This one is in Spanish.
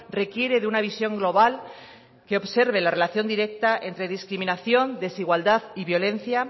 requiere de una visión global que observe la relación directa entre discriminación desigualdad y violencia